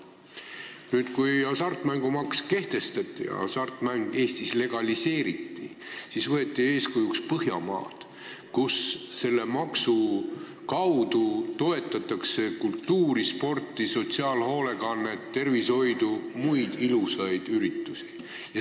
Siis kui hasartmängumaks kehtestati ja hasartmäng Eestis legaliseeriti, võeti eeskujuks Põhjamaad, kus selle maksu kaudu toetatakse kultuuri, sporti, sotsiaalhoolekannet, tervishoidu ja muid ilusaid üritusi.